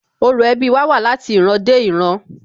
Orò ẹbí wa wá láti ìran dé ìran